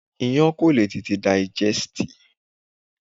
Iyán kò lè tete dàìgẹ́sìtì.